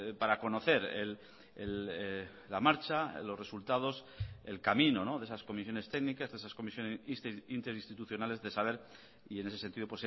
para conocer la marcha los resultados el camino de esas comisiones técnicas de esas comisiones interinstitucionales de saber y en ese sentido